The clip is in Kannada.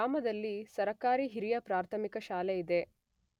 ಗ್ರಾಮದಲ್ಲಿ ಸರಕಾರಿ ಹಿರಿಯ ಪ್ರಾಥಮಿಕ ಶಾಲೆ ಇದೆ.